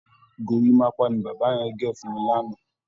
Gorímápá ni bàbá yẹn gẹ̀ fún mi lánàá